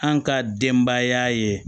An ka denbaya ye